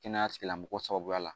Kɛnɛya tigilamɔgɔ sababuya la